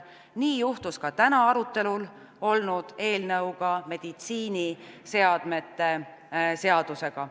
Nii juhtus ka täna arutelul olnud meditsiiniseadme seaduse eelnõuga.